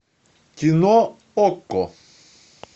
кино окко